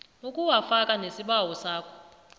ukuwafaka nesibawo sakho